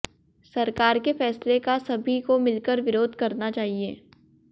सरकार के फैसले का सभी को मिलकर विरोध करना चाहिए